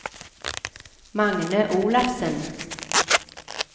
Magne Olafsen